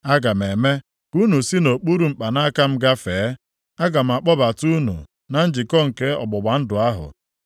Aga m eme ka unu si nʼokpuru mkpanaka m gafee, + 20:37 Dịka mgbe onye ọzụzụ atụrụ na-agụ atụrụ ya ọnụ maọbụ na-achọ ịmata ọnọdụ ahụ ha aga m akpọbata unu na njikọ nke ọgbụgba ndụ ahụ.